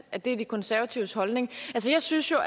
at det er de konservatives holdning jeg synes jo